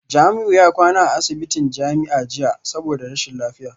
Jamiu ya kwana a asibitin jami'a jiya saboda rashin lafiya